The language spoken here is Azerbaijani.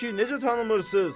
Ay kişi, necə tanımırsız?